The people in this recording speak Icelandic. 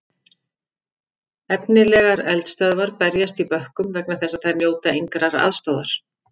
Efnilegar eldisstöðvar berjast í bökkum vegna þess að þær njóta engrar aðstoðar.